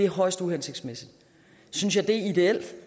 højst uhensigtsmæssigt synes jeg det er ideelt